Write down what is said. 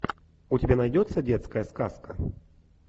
у тебя найдется детская сказка